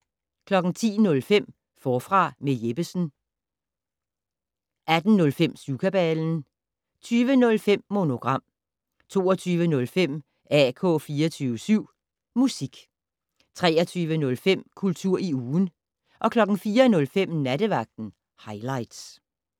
10:05: Forfra med Jeppesen 18:05: Syvkabalen 20:05: Monogram 22:05: AK 24syv Musik 23:05: Kultur i ugen 04:05: Nattevagten Highligts